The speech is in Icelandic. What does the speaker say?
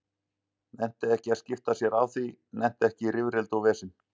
Nennti ekki að skipta sér af því, nennti ekki í rifrildi og vesen.